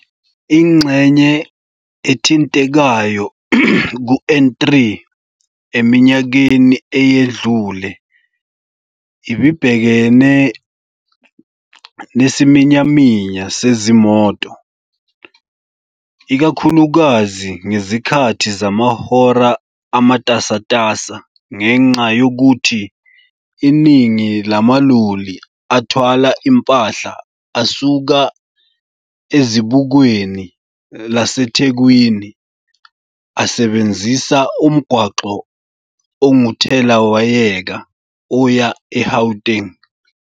Ingxenye ethintekayo ku-N3 eminyakeni eyedlule ibibhekene nesiminyaminya sezimoto, ikakhulukazi ngezikhathi zamahora amatasatasa ngenxa yokuthi iningi lamaloli athwala impahla asuka ezibukweni laseThekwini asebenzisa umgwaqo onguthelawayeka oya e-Gauteng.